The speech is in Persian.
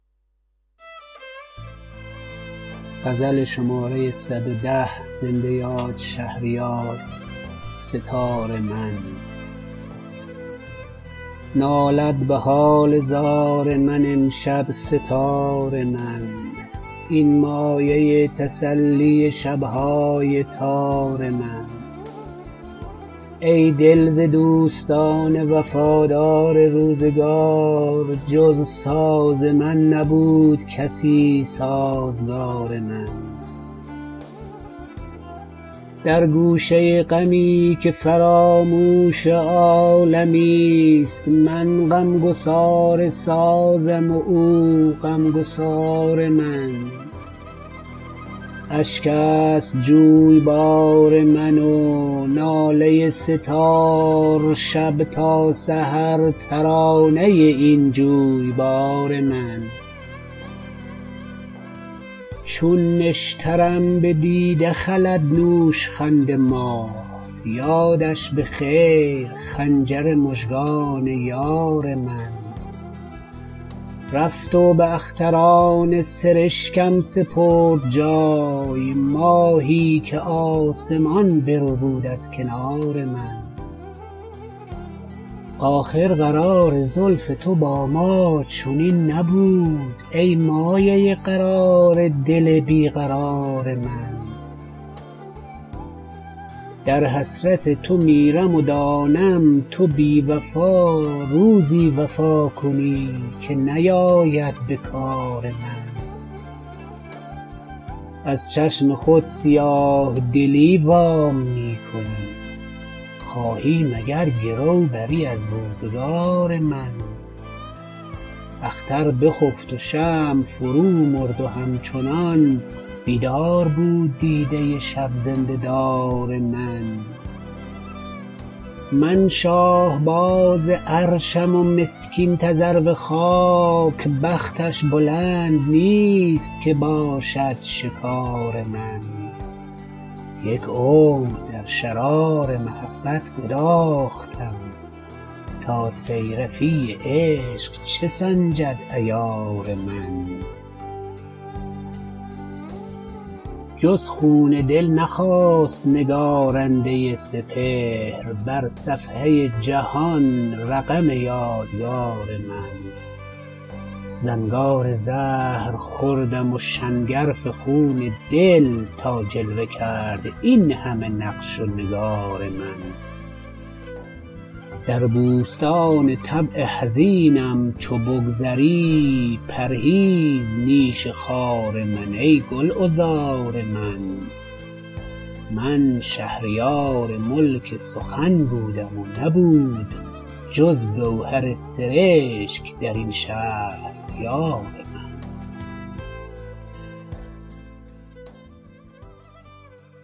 نالد به حال زار من امشب سه تار من این مایه تسلی شب های تار من ای دل ز دوستان وفادار روزگار جز ساز من نبود کسی سازگار من در گوشه غمی که فراموش عالمی است من غمگسار سازم و او غمگسار من اشک است جویبار من و ناله سه تار شب تا سحر ترانه این جویبار من چون نشترم به دیده خلد نوشخند ماه یادش به خیر خنجر مژگان یار من رفت و به اختران سرشکم سپرد جای ماهی که آسمان بربود از کنار من آخر قرار زلف تو با ما چنین نبود ای مایه قرار دل بیقرار من در حسرت تو میرم و دانم تو بی وفا روزی وفا کنی که نیاید به کار من از چشم خود سیاه دلی وام می کنی خواهی مگر گرو بری از روزگار من اختر بخفت و شمع فرو مرد و همچنان بیدار بود دیده شب زنده دار من من شاهباز عرشم و مسکین تذرو خاک بختش بلند نیست که باشد شکار من یک عمر در شرار محبت گداختم تا صیرفی عشق چه سنجد عیار من جز خون دل نخواست نگارنده سپهر بر صفحه جهان رقم یادگار من زنگار زهر خوردم و شنگرف خون دل تا جلوه کرد این همه نقش و نگار من در بوستان طبع حزینم چو بگذری پرهیز نیش خار من ای گلعذار من من شهریار ملک سخن بودم و نبود جز گوهر سرشک در این شهر یار من